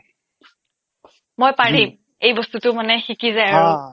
মই পাৰিম এই বস্তুটো মানে শিকি যায় আৰু